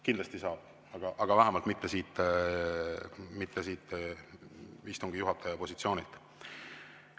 Kindlasti saab, aga vähemalt mitte siit istungi juhataja positsioonist.